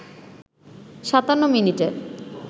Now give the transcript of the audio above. ৫৭ মিনিটে